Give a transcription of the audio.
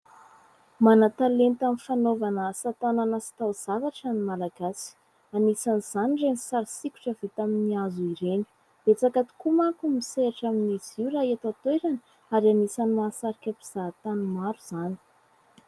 Mana-talenta amin'ny fanaovana asa tanana sy taozavatra ny Malagasy. Anisan'izany ireny sary sokitra vita amin'ny hazo ireny, betsaka tokoa manko no misehatra amin'ny izy io raha eto an-toerana ary anisany mahasarika mpizahatany maro izany.